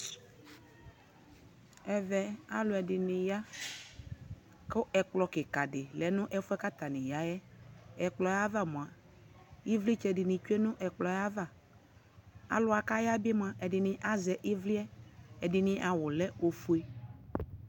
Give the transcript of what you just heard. ɛvɛ alʋɛdini ya kʋ ɛkplɔ kikaa di lɛnʋ ɛƒʋɛ kʋ atani yaɛ, ɛkplɔɛ aɣa mʋa ivlitsɛ dini twɛ nʋ ɛkplɔɛ aɣa, alʋa kʋ aya bi mʋa ɛdini azɛ ivliɛ, ɛdini awʋ lɛ ɔƒʋɛ